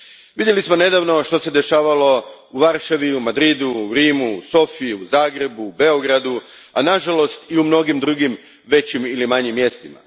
Vidjeli smo nedavno što se dešavalo u Varšavi, Madridu, Rimu, Sofiji, Zagrebu, Beogradu, a nažalost i u mnogim drugim većim ili manjim mjestima.